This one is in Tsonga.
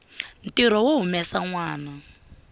ntirho wo humesa nwana